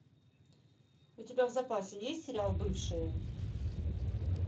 у тебя в запасе есть сериал бывшие